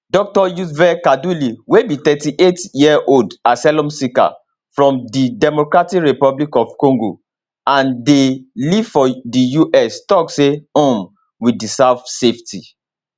dr yves kaduli wey be 38yearold asylum seeker from di democratic republic of congo and dey live for di us tok say um we deserve safety